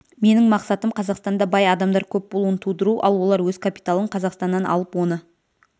менің мақсатым қазақстанда бай адамдар көп болуын тудыру ал олар өз капиталын қазақстаннан алып оны